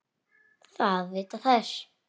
Það vita þær.